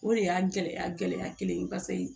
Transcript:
O de y'a gɛlɛya gɛlɛya kelen ye paseke